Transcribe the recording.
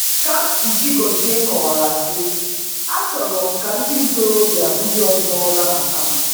Kamsi Chigozie kọwara sị: “Achọrọ m ka ndị ntorobịa ndị ọzọ nabata m.”